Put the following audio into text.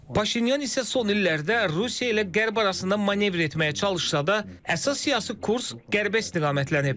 Paşinyan isə son illərdə Rusiya ilə Qərb arasında manevr etməyə çalışsa da, əsas siyasi kurs Qərbə istiqamətlənib.